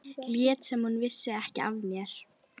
Lét sem hún vissi ekki af mér.